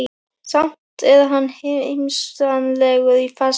Samt er hann heimsmannslegur í fasi.